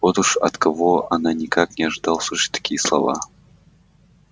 вот уж от кого она никак не ожидала услышать такие слова